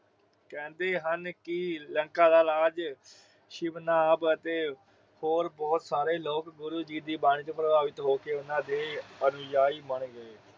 ਕਹਿੰਦੇ ਹਨ ਕੀ ਲੰਕਾ ਦਾ ਰਾਜ ਸ਼ਿਵਨਾਵ ਅਤੇ ਹੋਰ ਬੋਹਤ ਸਾਰੇ ਲੋਕ ਗੁਰੂ ਜੀ ਦੀ ਬਾਣੀ ਤੋਂ ਪ੍ਰਭਾਵਿਤ ਹੋ ਕੇ ਓਹਨਾ ਦੇ ਅਨੁਜਾਈ ਬਣ ਗਏ।